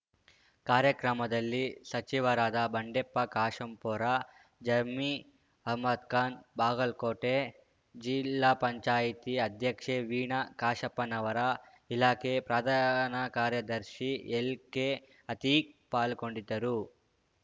ಕಾರ್ಯಕ್ರಮದಲ್ಲಿ ಸಚಿವರಾದ ಬಂಡೆಪ್ಪ ಕಾಶೆಂಪೂರ ಜರ್ಮೀ ಅಹ್ಮದ್‌ಖಾನ್‌ ಬಾಗಲಕೋಟೆ ಜಿಲ್ಲಾಪಂಚಾಯತಿ ಅಧ್ಯಕ್ಷೆ ವೀಣಾ ಕಾಶಪ್ಪನವರ ಇಲಾಖೆ ಪ್ರಧಾನ ಕಾರ್ಯದರ್ಶಿ ಎಲ್‌ಕೆಅತೀಕ್‌ ಪಾಲ್ಗೊಂಡಿದ್ದರು